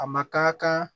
A ma kan ka kan